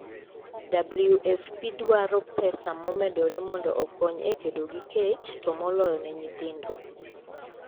WFP dwaro pesa momedore mondo okony e kedo gi kech, to moloyo ne nyithindo